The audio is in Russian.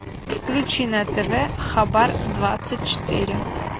включи на тв хабар двадцать четыре